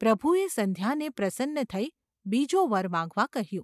’ પ્રભુએ સંધ્યાને પ્રસન્ન થઈ બીજો વર માંગવા કહ્યું.